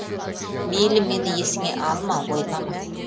мейлі мені есіңе алма ойлама